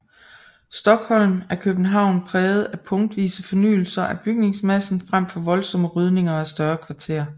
Stockholm er København præget af punktvise fornyelser af bygningsmassen frem for voldsomme rydninger af større kvarterer